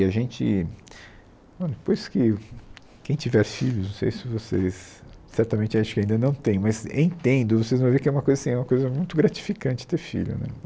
E a gente, depois que, quem tiver filhos, não sei se vocês... certamente, acho que ainda não têm, mas entendo, vocês vão ver que é uma coisa assim, é uma coisa muito gratificante ter filho, né?